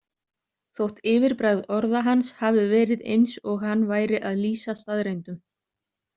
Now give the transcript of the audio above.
Þótt yfirbragð orða hans hafi verið eins og hann væri að lýsa staðreyndum.